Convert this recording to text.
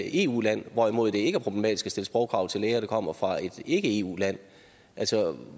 eu land hvorimod det ikke er problematisk at stille sprogkrav til læger der kommer fra et ikke eu land altså